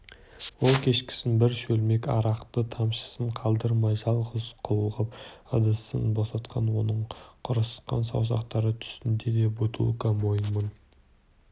ол кешкісін бір шөлмек арақты тамшысын қалдырмай жалғыз қылғып ыдысын босатқан оның құрысқан саусақтары түсінде де бутылка мойнын